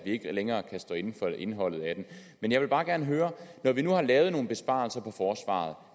ikke længere kan stå inde for indeholdet af det men jeg vil bare gerne høre når vi nu har lavet nogle besparelser på forsvaret